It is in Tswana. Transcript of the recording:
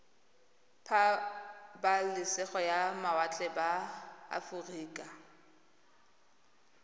pabalesego ya mawatle ba aforika